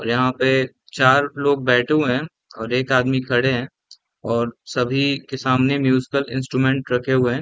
और यहाँ पे चार लोग बैठे हुए है और एक आदमी खड़े है और सभी के सामने म्यूज़ पर इंस्टूमेंट रखे हुए हैं ।